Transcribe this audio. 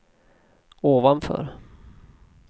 ovanför